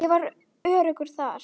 Ég var öruggur þar.